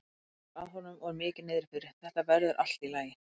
Hann hvíslar að honum og er mikið niðri fyrir: Þetta verður allt í lagi.